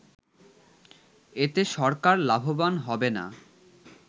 এতে সরকার লাভবান হবে না